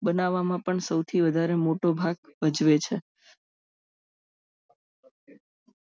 બનાવવામાં પણ સૌથી વધારે મોટો ભાગ ભજવે છે